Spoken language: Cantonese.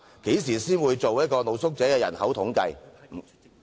何時才會進行露宿者人口統計？